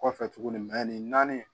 Kɔfɛ tuguni nin naani